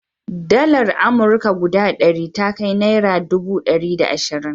Dalar amurka guda ɗari ta kai naira dubu ɗari da ashirin.